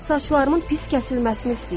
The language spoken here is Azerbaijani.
Saçlarımın pis kəsilməsini istəyirəm.